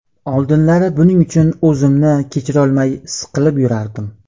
Oldinlari buning uchun o‘zimni kechirolmay, siqilib yurardim.